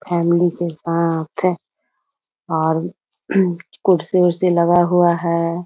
Family के साथ और कुर्सी-उर्सी लगा हुआ हैं।